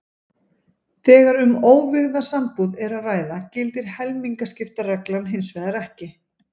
Þegar um óvígða sambúð er að ræða gildir helmingaskiptareglan hins vegar ekki.